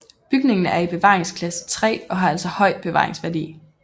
Bygningen er i bevaringsklasse 3 og har altså høj bevaringsværdi